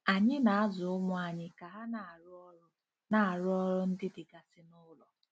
Anyị na-azụ ụmụ anyị ka ha na-arụ ọrụ na-arụ ọrụ ndị dịgasị n'ụlọ.